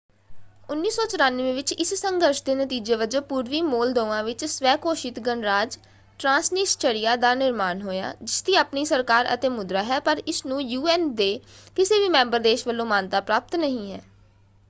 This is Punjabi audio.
1994 ਵਿੱਚ ਇਸ ਸੰਘਰਸ਼ ਦੇ ਨਤੀਜੇ ਵਜੋਂ ਪੂਰਵੀ ਮੋਲਦੋਵਾ ਵਿੱਚ ਸਵੈ-ਘੋਸ਼ਿਤ ਗਣਰਾਜ ਟ੍ਰਾਂਸਨੀਸਟਰੀਆ ਦਾ ਨਿਰਮਾਣ ਹੋਇਆ ਜਿਸਦੀ ਆਪਣੀ ਸਰਕਾਰ ਅਤੇ ਮੁਦਰਾ ਹੈ ਪਰ ਇਸਨੂੰ ਯੂਐਨ ਦੇ ਕਿਸੇ ਵੀ ਮੈਂਬਰ ਦੇਸ਼ ਵੱਲੋਂ ਮਾਨਤਾ ਪ੍ਰਾਪਤ ਨਹੀਂ ਹੈ।